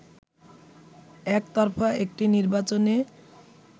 একতরফা একটি নির্বাচনে